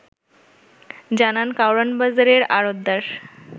জানান কারওয়ান বাজারের আড়ৎদার